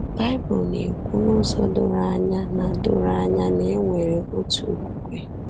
Baịbụl na-ekwu n’ụzọ doro anya na doro anya na e nwere otu okwukwe.